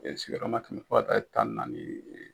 sigiyɔrɔma kɛmɛ fɔ ka taa ye tan ni naani ye.